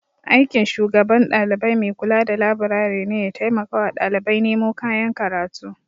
Aikin shugaban dalibai maikula da laburare ne ya taimakawa ɗalibai nemo kayan karatu.